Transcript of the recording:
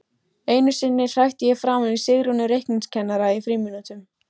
Einu sinni hrækti ég framan í Sigrúnu reikningskennara í frímínútum.